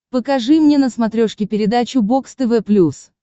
покажи мне на смотрешке передачу бокс тв плюс